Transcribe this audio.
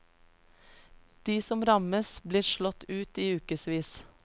De som rammes blir slått ut i ukevis.